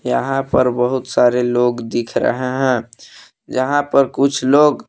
यहां पर बहुत सारे लोग दिख रहे हैं जहां पर कुछ लोग--